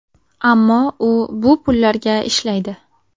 Ammo u bu pullarga ishlaydi.